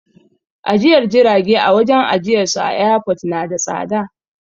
Ajiyar jirage a wajen ajiyarsu a airport na da tsada.